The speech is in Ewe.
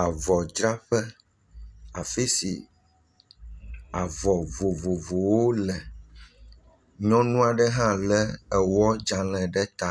Avɔdzraƒe afi si avɔ vovovowo le. Nyɔnu aɖe hã le ewɔdzale ɖe ta